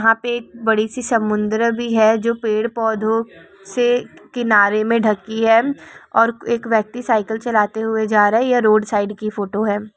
यहां पे बड़ी सी समुन्द्र भी है जो पेड़ पौधो से किनारे मे ढकी है और एक व्यक्ति साइकेल चलते हुए जा रहे या रोड साइड की फोटो हे।